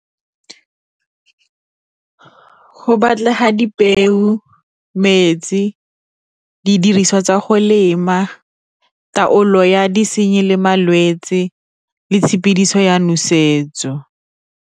Go batlega dipeo, metsi, didiriswa tsa go lema taolo ya disenyi le malwetse le tshepidiso ya nosetso.